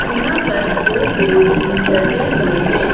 यहां पर दो बोर्ड्स भी लगे हुए हैं।